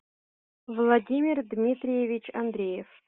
владимир дмитриевич андреев